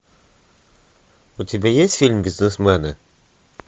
у тебя есть фильм бизнесмены